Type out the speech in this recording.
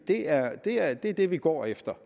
det er det er det det vi går efter